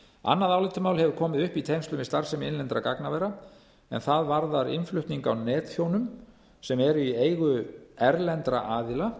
annað álitamál hefur komið upp í tengslum við starfsemi innlendra gagnavera en það varðar innflutning á netþjónum sem eru í eigu erlendra aðila